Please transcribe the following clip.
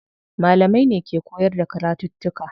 Malamai ne ke koyar da karatuttuka.